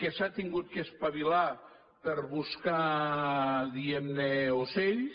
que s’ha hagut d’espavilar per buscar diguem ne ocells